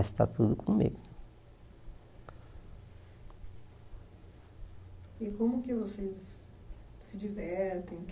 Está tudo comigo E como que vocês se divertem